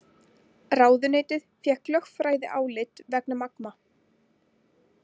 Ráðuneytið fékk lögfræðiálit vegna Magma